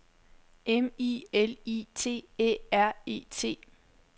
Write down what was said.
M I L I T Æ R E T